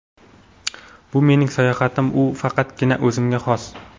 Bu mening sayohatim va u faqatgina o‘zimga xos.